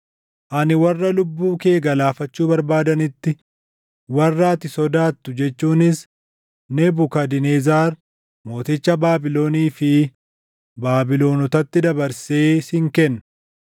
Ani warra lubbuu kee galaafachuu barbaadanitti, warra ati sodaattu jechuunis Nebukadnezar mooticha Baabilonii fi Baabilonotatti dabarsee sin kenna.